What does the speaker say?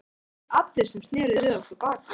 En það voru ekki allir sem sneru við okkur baki.